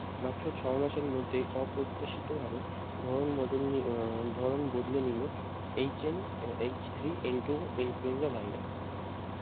মাত্র ছয় মাসের মধ্যে অপ্রত্যাশিত ভাবে ধরণ বদলনি উম ধরণ বদলে নিলো HN H -three N -two influenza virus.